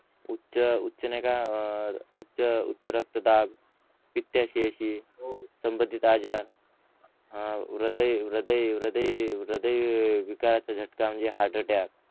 उच उच नई का उच्च रक्त दाब पीतशयेशी संबंधित आजार ह्रदय ह्रदय ह्रदय ह्रदय विकाराचा जटका म्हणजे हार्ट अटॅक